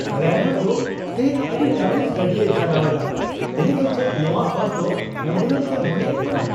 Driver ᱫᱚ ᱛᱮᱦᱮᱧ ᱟᱹᱰᱤ ᱛᱟᱹᱯᱤᱥ ᱜᱟᱹᱰᱤᱭ ᱪᱟᱞᱟᱣ ᱮᱫᱟ ᱾ ᱩᱱᱤ ᱫᱚ ᱪᱮᱫ ᱱᱚᱶᱟ ᱵᱟᱥᱫᱚ ᱮᱢᱵᱩᱞᱮᱱᱥᱼᱮ ᱢᱚᱱᱮᱭᱮᱫ ᱠᱟᱱᱟ ?